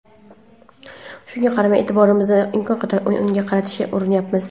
Shunga qaramay, e’tiborimizni imkon qadar o‘yinga qaratishga urinyapmiz.